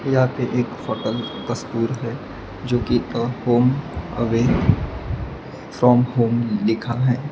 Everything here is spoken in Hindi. यहां पे एक होटल तस्वीर है जो कि का होम अवे फ्रॉम होम लिखा है।